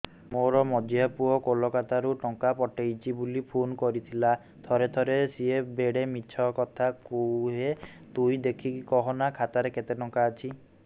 ମୋର ମଝିଆ ପୁଅ କୋଲକତା ରୁ ଟଙ୍କା ପଠେଇଚି ବୁଲି ଫୁନ କରିଥିଲା ଥରେ ଥରେ ସିଏ ବେଡେ ମିଛ କଥା କୁହେ ତୁଇ ଦେଖିକି କହନା ଖାତାରେ କେତ ଟଙ୍କା ଅଛି